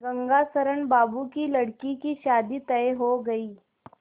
गंगाशरण बाबू की लड़की की शादी तय हो गई